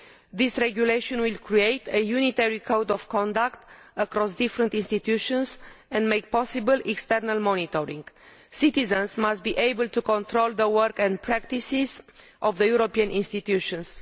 This regulation will create a unitary code of conduct across different institutions and make possible external monitoring. Citizens must be able to control the work and practices of the European institutions.